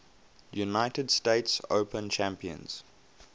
united states open champions